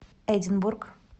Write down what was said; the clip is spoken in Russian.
эдинбург